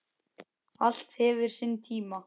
Allt hefur sinn tíma